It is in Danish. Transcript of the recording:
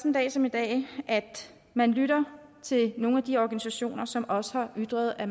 en dag som i dag at man lytter til nogle af de organisationer som også har ytret at